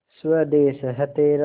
स्वदेस है तेरा